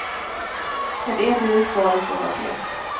Ett entydigt svar är svårt att ge.